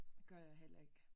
Gør jeg heller ikke